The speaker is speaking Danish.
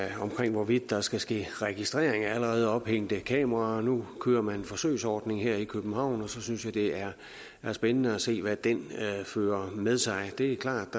hvorvidt der skal ske registrering af allerede ophængte kameraer nu kører man en forsøgsordning her i københavn og så synes jeg det er spændende at se hvad den fører med sig det er klart